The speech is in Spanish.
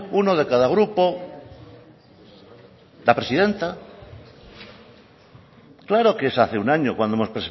uno de cada grupo la presidenta claro que es hace un año cuando hemos